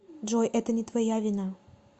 джой это не твоя вина